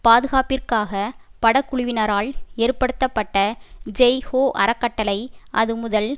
பாதுகாப்பிற்காக படக்குழுவினரால் ஏற்படுத்தப்பட்ட ஜெய் ஹோ அறக்கட்டளை அதுமுதல்